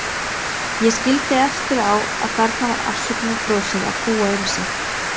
Ég skildi eftir á að þarna var afsökunarbrosið að búa um sig.